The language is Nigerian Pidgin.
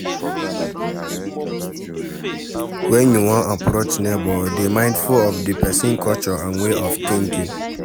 When you wan approach neigbour dey mindful of di person culture and way of thinking